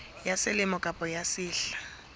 ya selemo kapa ya sehla